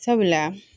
Sabula